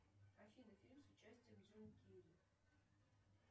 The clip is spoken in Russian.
афина фильм с участием джима керри